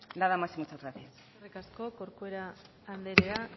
nada más y muchas gracias eskerrik asko corcuera andrea